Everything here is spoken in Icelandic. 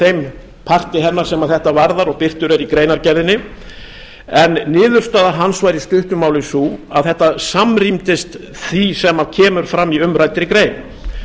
þeim parti hennar sem þetta varðar og birtur er í greinargerðinni en niðurstaða hans var í stuttu máli sú að þetta samrýmdist því sem kemur fram í umræddri grein